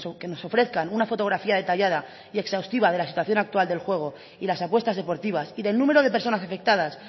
que nos ofrezcan una fotografía detallada y exhaustiva de la situación actual del juego y las apuestas deportivas y del número de personas afectadas